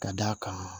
Ka d'a kan